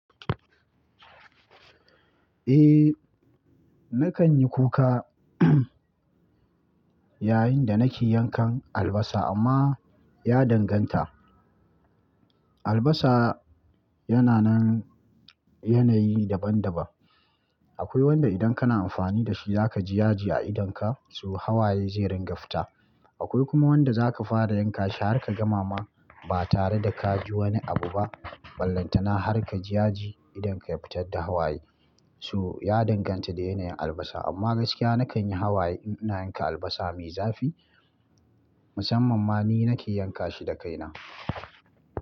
Eh, na kan yi kuka yayin da nake yankan albasa amma ya danganta. Albasa yana nan yanayi daban-daban. Akwai wanda idan kana amfani da shi za ka ji yaji a idonka so hawaye zai ringa fita. Akwai kuma wanda za ka fara yanka shi har ka gama ma ba tare da ka ji wani abu ba, ballanta na har ka ji yaji idan ka fitar da hawaye. To, ya danganta da yanayin albasa amma gaskiya na kan yi hawaye in ina yanka albasa mai zafi, musamman ma ni nake yanka shi da kaina.